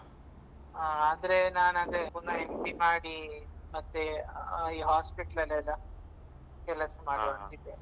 ಆ ಆದ್ರೆ ನಾನದೆ ಒಂದು MD ಮಾಡಿ ಮತ್ತೆ ಈ hospital ಲಲ್ಲೆಲ್ಲಾ ಕೆಲಸ ಮಾತಾಡ್ತಿದ್ದೆ